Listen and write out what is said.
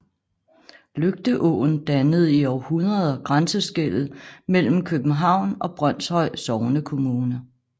Lygteåen dannede i århundreder grænseskellet mellem København og Brønshøj Sognekommune